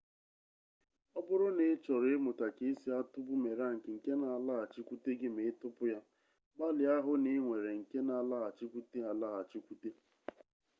ọbụrụ na ị chọrọ ịmụta ka esi atụ bumerang nke na alaghachikwute gị ma ị tụpụ ya gbalịa hụ na ị nwere nke na alaghachikwute alaghachikwute